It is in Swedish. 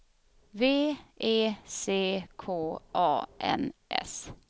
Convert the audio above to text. V E C K A N S